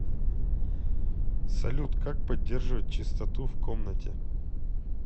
салют как поддерживать чистоту в комнате